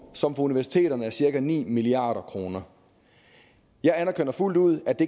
som for universiteterne er cirka ni milliard kroner jeg anerkender fuldt ud at det